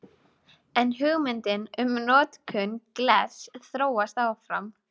En hugmyndin um notkun glers þróast áfram.